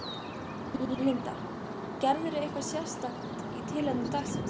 Linda: Gerirðu eitthvað sérstakt í tilefni dagsins?